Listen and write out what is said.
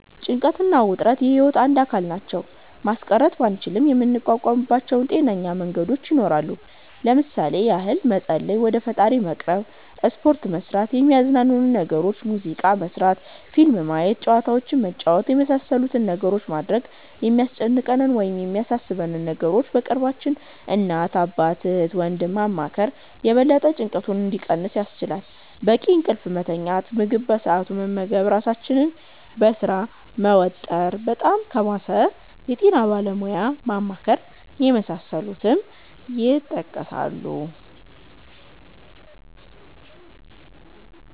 ጭንቀት እና ውጥረት የህይወት አንድ አካል ናቸው። ማስቀረት ባንችልም የምንቋቋምባቸው ጤናማ መንገዶች ይኖራሉ። ለምሣሌ ያህል መፀለይ(ወደ ፈጣሪ መቅረብ)፣ሰፖርት መስራት፣ የሚያዝናኑንን ነገሮች (ሙዚቃ መስመት፣ ፊልም ማየት፣ ጨዋታዎችንን መጫወት)የመሣሠሉትን ነገሮች ማድረግ፣ የሚያስጨንቀንን ወይም የሚያሣሦበንን ነገሮች በቅርባችን (እናት፣ አባት፣ እህት፣ ወንድም )ማማከር የበለጠ ጭንቀቱ እንዲቀንስ ያስችላል፣ በቂ እንቅልፍ መተኛት፣ ምግብ በሠአቱ መመገብ ራሣችንን በሥራ መወጠር፣ በጣም ከባሠ የጤና ባለሙያ ማማከር የመሣሠሉት ይጠቀሳሉ።